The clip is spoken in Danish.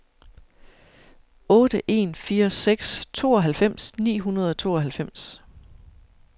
otte en fire seks tooghalvfems ni hundrede og tooghalvfems